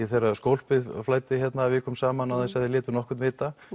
þegar skólpið flæddi hérna vikum saman án þess að þið létuð nokkurn vita